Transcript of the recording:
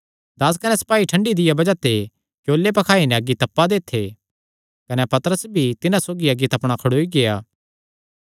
दास कने सपाई ठंडी दिया बज़ाह ते क्योले पखाई नैं अग्गी तप्पा दे थे कने पतरस भी तिन्हां सौगी अग्गी तपणा खड़ोई गेआ